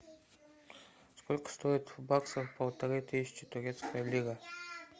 сколько стоит в баксах полторы тысячи турецкая лира